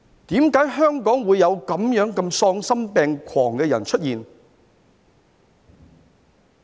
為何香港會有這麼喪心病狂的人出現？